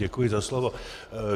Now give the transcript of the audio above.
Děkuji za slovo.